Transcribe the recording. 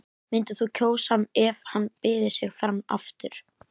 Myndir þú kjósa hann ef hann byði sig fram aftur?